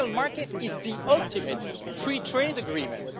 The single market is the ultimate free trade agreement.